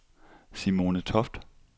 Simone Toft